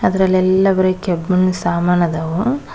ಇದರಲೆಲ್ಲ ಬರಿ ಕೆಬ್ಮಣ್ ಸಮಾನ್ ಅದವ.